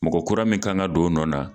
Mɔgɔ kura min kan ka don o nɔ na